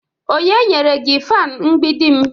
onye nyere gi fan mgbidim?